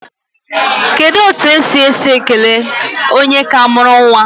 Kedu otu esi esi ekele onye ka mụrụ nwa?